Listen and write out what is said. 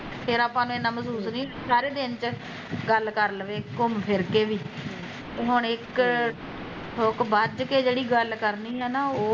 ਫਿਰ ਆਪਾਂ ਨੂੰ ਏਨਾਂ ਮਹਿਸੂਸ ਨੀ ਹੁਣਾ ਸਾਰੇ ਦਿਨ ਚ ਗੱਲ ਕਰ ਲਵੇ ਘੁਮ ਫਿਰ ਕੇ ਵੀ ਤੇ ਹੁਣ ਇੱਕ ਹੂਕ ਬੱਝ ਕੇ ਜਿਹੜੀ ਗੱਲ ਕਰਣੀ ਐ ਨਾ ਉਹ